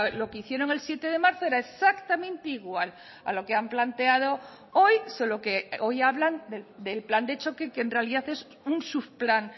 lo que hicieron el siete de marzo era exactamente igual a lo que han planteado hoy solo que hoy hablan del plan de choque que en realidad es un subplan